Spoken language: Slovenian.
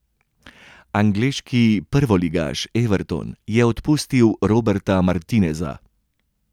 Angleški prvoligaš Everton je odpustil Roberta Martineza.